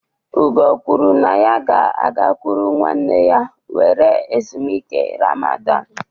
Ugo kwuru na ya ga-agakwuru nwanne ya were ezumike Ramadan